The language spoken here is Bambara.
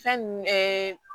Fɛn nun ɛɛ